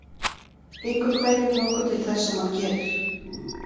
Gengur hverjum nokkuð til þess sem hann gerir.